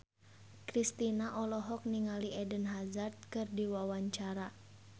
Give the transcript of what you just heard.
Kristina olohok ningali Eden Hazard keur diwawancara